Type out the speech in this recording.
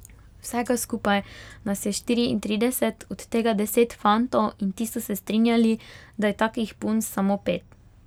Vsega skupaj nas je štiriintrideset, od tega deset fantov, in ti so se strinjali, da je takih punc samo pet.